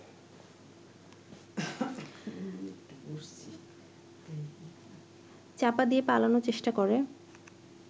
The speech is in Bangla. চাপা দিয়ে পালানোর চেষ্টা করে